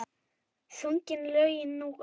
Sungin lögin nú og þá.